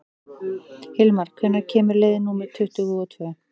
Hilmar, hvenær kemur leið númer tuttugu og tvö?